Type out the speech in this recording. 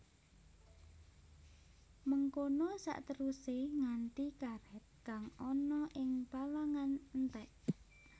Mengkono saterusé nganti karèt kang ana ing palangan entèk